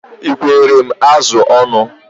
Ị ekwere m azụ ọnụ?